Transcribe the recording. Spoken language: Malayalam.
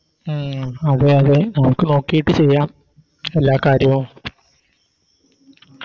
അഹ് അതെ അതെ നമുക്ക് നോക്കിട്ട് ചെയ്യാം എല്ലാ കാര്യവും